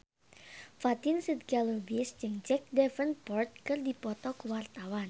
Fatin Shidqia Lubis jeung Jack Davenport keur dipoto ku wartawan